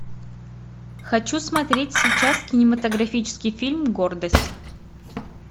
хочу смотреть сейчас кинематографический фильм гордость